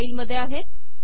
या फाईलमध्ये आहेत